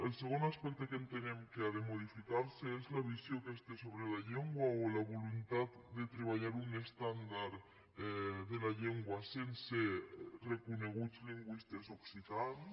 el segon aspecte que entenem que ha de modificar se és la visió aquesta sobre la llengua o la voluntat de treballar un estàndard de la llengua sense reconeguts lingüistes occitans